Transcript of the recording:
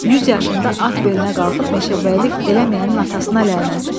100 yaşımda at belinə qalxıb meşəbəylik eləməyənin atasına lənət!